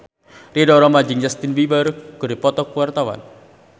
Ridho Roma jeung Justin Beiber keur dipoto ku wartawan